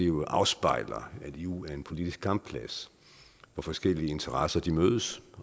jo afspejler at eu er en politisk kampplads hvor forskellige interesser mødes